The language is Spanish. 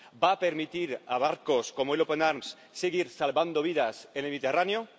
¿Va a permitir a barcos, como el Open Arms, seguir salvando vidas en el Mediterráneo?